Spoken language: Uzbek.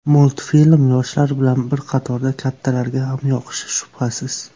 Multfilm yoshlar bilan bir qatorda kattalarga ham yoqishi shubhasiz.